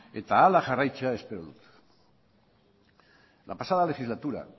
eta hala jarraitzea espero dut en la pasada legislatura